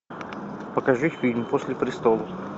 покажи фильм после престолов